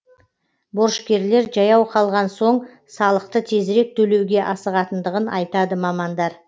борышкерлер жаяу қалған соң салықты тезірек төлеуге асығатындығын айтады мамандар